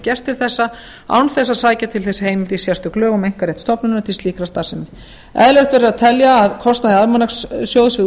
gert til þessa án þess að sækja til þess heimild í sérstök lög um einkarétt stofnunarinnar til slíkrar starfsemi eðlilegt verður að telja að kostnaði almanakssjóðs við